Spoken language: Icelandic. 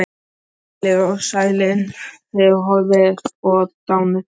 Heilir og sælir, þið horfnu og dánu.